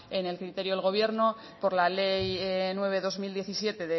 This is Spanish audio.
en el criterio del gobierno por la ley nueve barra dos mil diecisiete